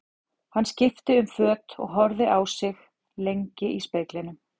Hann skipti um föt og horfði lengi á sig í speglinum.